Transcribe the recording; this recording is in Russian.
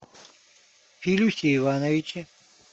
филюсе ивановиче